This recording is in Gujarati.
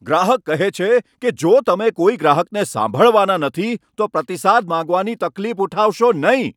ગ્રાહક કહે છે કે, જો તમે કોઈ ગ્રાહકને સાંભળવાના નથી, તો પ્રતિસાદ માંગવાની તકલીફ ઉઠાવશો નહીં.